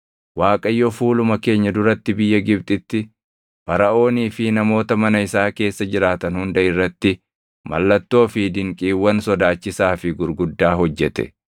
Waaqayyo fuuluma keenya duratti biyya Gibxitti, Faraʼoonii fi namoota mana isaa keessa jiraatan hunda irratti mallattoo fi dinqiiwwan sodaachisaa fi gurguddaa hojjete.